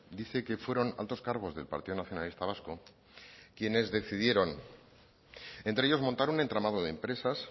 dice que fueron altos cargos del partido nacionalista vasco quienes decidieron entre ellos montar un entramado de empresas